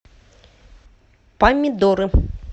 помидоры